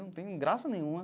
Não tem graça nenhuma.